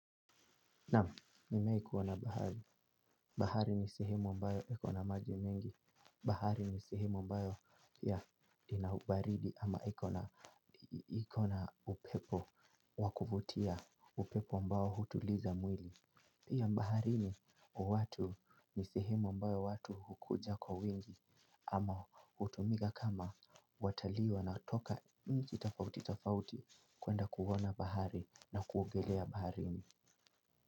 Naam, nimewahi kuona bahari. Bahari ni sehemu ambayo iko na maji mengi. Bahari ni sehemu ambayo ya ina ubaridi ama iko na upepo wa kuvutia upepo ambao hutuliza mwili. Pia baharini watu ni sehemu ambayo watu hukuja kwa wengi ama hutumika kama watalii wanaotoka mji tofauti tofauti kuenda kuona bahari na kuogelea baharini.